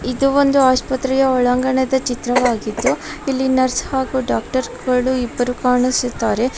ಇದು ಒಂದು ಆಸ್ಪತ್ರೆಯ ಒಳಾಂಗಣದ ಚಿತ್ರವಾಗಿದ್ದು ಇಲ್ಲಿ ನರ್ಸ್ ಆಗು ಡಾಕ್ಟರಗಳು ಇಬ್ಬರು ಕಾಣಿಸುತ್ತಿದ್ದಾರೆ.